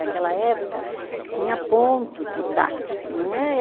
Naquela época, tinha ponto de táxi. Não é